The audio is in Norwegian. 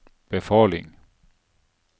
befaling